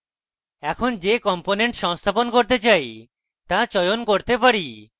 এখানে যে components সংস্থাপন করতে চাই তা চয়ন করতে পারি